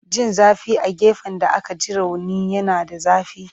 Jin zafi a gefen da aka ji rauni yana da zafi.